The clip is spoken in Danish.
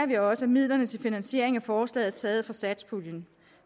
vi også at midlerne til finansieringen af forslaget er taget fra satspuljen